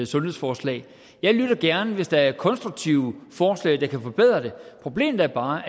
sundhedsforslag jeg lytter gerne hvis der er konstruktive forslag der kan forbedre det problemet er bare